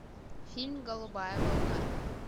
фильм голубая волна